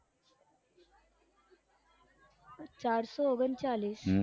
ચારસો ઓગણચાલીસ